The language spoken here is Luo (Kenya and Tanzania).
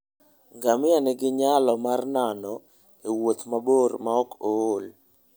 Ngamia nigi nyalo mar nano e wuoth mabor maok ool.